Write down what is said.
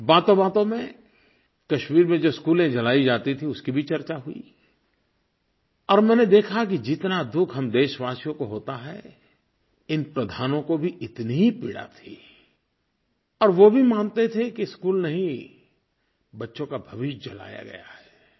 बातोंबातों में कश्मीर में जो स्कूलें जलाई जाती थीं उसकी चर्चा भी हुई और मैंने देखा कि जितना दुःख हम देशवासियों को होता है इन प्रधानों को भी इतनी ही पीड़ा थी और वो भी मानते थे कि स्कूल नहीं बच्चों का भविष्य जलाया गया है